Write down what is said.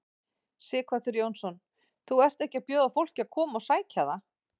Sighvatur Jónsson: Þú ert ekki að bjóða fólki að koma og sækja það?